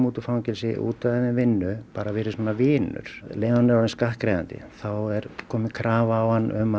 út úr fangelsi útvegað þeim vinnu bara verið svona vinur um leið og hann er orðinn skattgreiðandi þá er kominn krafa á hann um